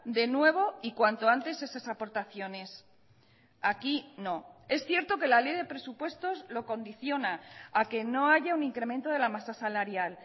de nuevo y cuanto antes esas aportaciones aquí no es cierto que la ley de presupuestos lo condiciona a que no haya un incremento de la masa salarial